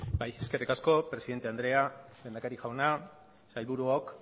bai eskerrik asko presidente andrea lehendakari jauna sailburuok